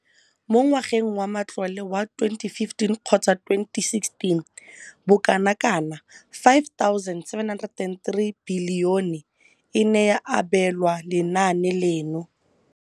Mo ngwageng wa matlole wa 2015,16, bokanaka R5 703 bilione e ne ya abelwa lenaane leno.